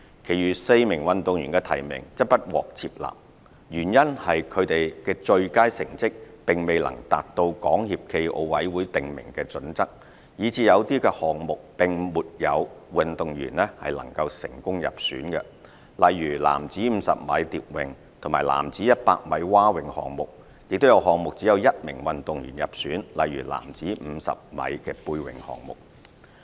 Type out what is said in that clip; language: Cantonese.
其餘4名運動員的提名則不獲接納，原因是他們的最佳成績並未能達到港協暨奧委會訂明的準則，以致有些項目並沒有運動員能成功入選，例如男子50米蝶泳和男子100米蛙泳項目；亦有項目只有1名運動員入選，例如男子50米背泳項目。